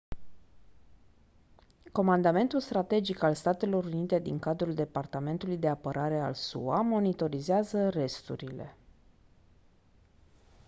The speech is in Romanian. comandamentul strategic al statelor unite din cadrul departamentului de apărare al sua monitorizează resturile